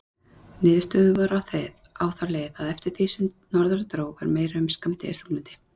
Niðurstöður voru á þá leið að eftir því sem norðar dró var meira um skammdegisþunglyndi.